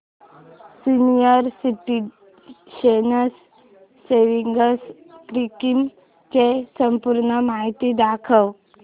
senior citizens savings scheme ची संपूर्ण माहिती दाखव